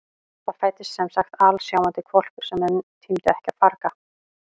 Það fæddist semsagt alsjáandi hvolpur sem menn tímdu ekki að farga.